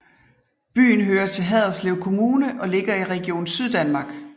Byen hører til Haderslev Kommune og ligger i Region Syddanmark